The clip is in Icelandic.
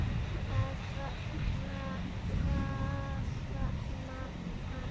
Að faðma hana.